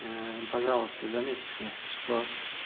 пожалуйста заметьте что